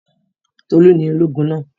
Tolú ni ológun náà.